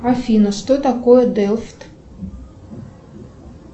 афина что такое делфт